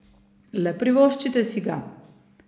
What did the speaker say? Le privoščite si ga!